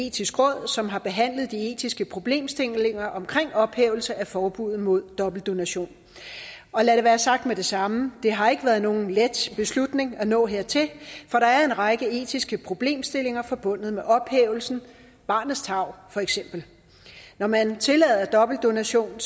etiske råd som har behandlet de etiske problemstillinger omkring ophævelse af forbuddet mod dobbeltdonation og lad det være sagt med det samme det har ikke været nogen let beslutning at nå hertil for der er en række etiske problemstillinger forbundet med ophævelsen barnets tarv for eksempel når man tillader dobbeltdonation